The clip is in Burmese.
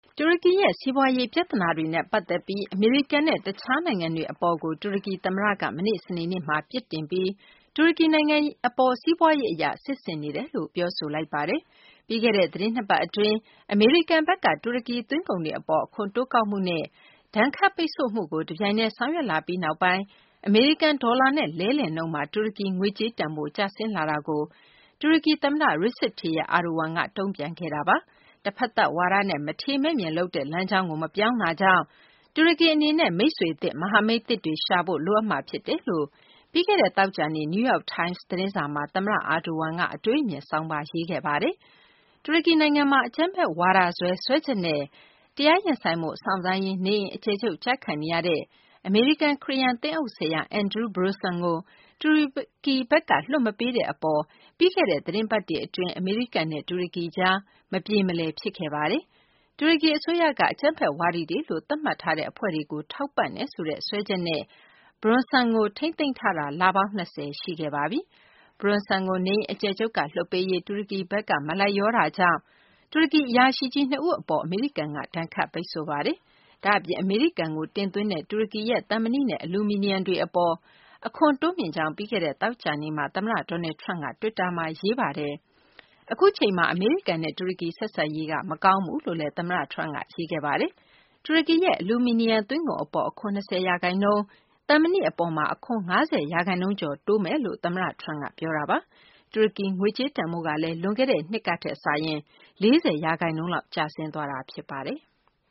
တူရကီရဲ့ စီးပွားရေး ပြသနာတွေနဲ့ ပတ်သက်ပြီး အမေရိကန်နဲ့ တခြားနိုင်ငံတွေ အပေါ် တူရကီ သမ္မတက မနေ့ စနေနေ့က ပြစ်တင် ပြီး တူရကီနိုင်ငံ အပေါ် စီးပွားရေးအရ စစ်ဆင်နေတယ်လို့ ပြောဆိုလိုက်ပါတယ်။ ပြီးခဲ့တဲ့ သတင်း ၂ ပတ် အတွင်း အမေရိကန်ဘက်က တူရကီ သွင်းကုန်တွေ အပေါ် အခွန်တိုးကောက်မှုနဲ့ ဒဏ်ခတ်ပိတ်ဆို့မှုတွေကို တပြိုင်တည်း ဆောင်ရွက်လာပြီးနောက်ပိုင်း အမေရိကန် ဒေါ်လာနဲ့ လဲလှယ်နှုန်းမှာ တူရကီ ငွေကြေးတန်ဖိုး ကျဆင်းလာမှုကို တူရကီ သမ္မတRecep Tayyip Erdogan က တုံ့ပြန်ခဲ့တာပါ။ တဖတ်သက်ဝါဒနဲ့ မထေမဲ့မြင်လုပ်တဲ့ လမ်းကြောင်းကို မပြောင်းတာကြောင့် တူရကီ အနေနဲ့ မိတ်ဆွေသစ်၊ မဟာမိတ်သစ်တွေ ရှာဖို့ လိုအပ်မှာ ဖြစ်တယ်လို့ ပြီးခဲ့တဲ့ သောကြာနေ့ New York Times သတင်းစာမှာ သမ္မတ Erdogan က အတွေးအမြင်ဆောင်းပါး ရေးသားခဲ့ပါတယ်။ တူရကီနိုင်ငံမှာ အကြမ်းဖက်ဝါဒစွဲ စွဲချက်နဲ့ တရားရင်ဆိုင်ဖို့ စောင့်ဆိုင်းရင်း နေအိမ်အကျယ်ချုပ်ကျခံနေရတဲ့ အမေရိကန် ခရစ်ယာန် သင်းအုပ်ဆရာ Andrew Brunson ကို တူရကီဘက်က လွှတ်မပေးတဲ့ အပေါ် ပြီးခဲ့တဲ့ သတင်ပတ်တွေ အတွင်း အမေရိကန်နဲ့ တူရကီကြား မပြေမလည် ဖြစ်ခဲ့တာပါ။ တူရကီ အစိုးရက အကြမ်းဖက်ဝါဒီတွေလို သတ်မှတ်ထားတဲ့ အဖွဲ့တွေကို ထောက်ပံ့တယ်ဆိုတဲ့ စွပ်စွဲချက်နဲ့ Brunson ကို ထိန်းသိမ်းထားတာ လပေါင်း ၂၀ ရှိခဲ့ပါပြီ။ Brunson ကို နေအိမ်အကျယ်ချုပ်က လွှွတ်ပေးရေး တူရကီဘက်က မလိုက်လျောတာကြောင့် တူရကီ အရာရှိကြီး ၂ ဦး အပေါ် အမေရိကန်က ဒဏ်ခတ်ပိတ်ဆို့ခဲ့ပါတယ်။ ဒါ့အပြင် အမေရိကန်ကို တင်သွင်းနေတဲ့ တူရကီရဲ့ သံမဏိနဲ့ အလူမီနီယံ တွေ အပေါ် အခွန်တိုးမြှင့်ကြောင်း ပြီးခဲ့တဲ့ သောကြာနေ့မှာ သမ္မတ Donald Trump က တွစ်တာမှာ ရေးသားခဲ့တာပါ။ အခုအချိန်မှာ အမေရိကန်နဲ့ တူရကီ ဆက်ဆံရေးက မကောင်းဘူးလို့လည်း သမ္မတ Trump က ရေးသားခဲ့ပါတယ်။ တူရကီရဲ့ အလူမီနီယံ သွင်းကုန် အပေါ် အခွန် ၂၀ ရာခိုင်နှုန်း၊ သံမဏိ အပေါ် အခွန် ၅၀ ရာခိုင်နှုန်းကျော် တိုးသွားမယ်လို့ သမ္မတ Trump က ပြောခဲ့တာပါ။ တူရကီ ငွေကြေးတန်ဖိုးကလည်း လွန်ခဲ့တဲ့နှစ်ကထက် ၄၀ ရာခိုင်နှုန်းလောက် ကျဆင်းသွားတာ ဖြစ်ပါတယ်။